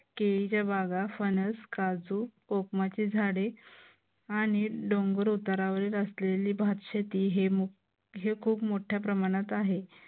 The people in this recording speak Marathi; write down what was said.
केळीच्या बागा फणस काजू कोकमाचे झाडे आणि डोंगर उतारावरील असलेलं भातशेती हे खूप मोठ्या प्रमाणत आहे.